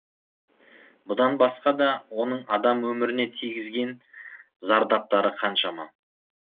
бұдан басқа да оның адам өміріне тигізген зардаптары қаншама